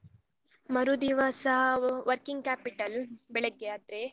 ಮರುದಿವಸ working capital ಬೆಳಗ್ಗೆ ಆದ್ರೆ.